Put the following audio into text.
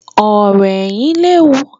Ọ̀rò ẹ̀yìn léwu